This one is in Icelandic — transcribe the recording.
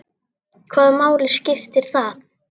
Hvaða máli skiptir það?